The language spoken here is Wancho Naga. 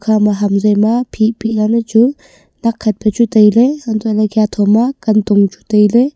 ikha ma ham zoi ma phi phi lal le chu nakkhat pe chu tailey antoh lah ley khatho ma kantong chu tailey.